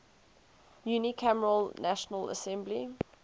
unicameral national assembly